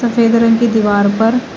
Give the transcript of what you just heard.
सफेद रंग की दीवार पर--